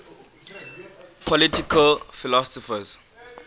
political philosophers